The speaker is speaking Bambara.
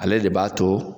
Ale de b'a to